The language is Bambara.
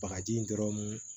Bagaji dɔrɔn